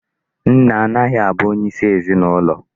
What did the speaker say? Nne agahị abụ onyeisi ezinụlọ.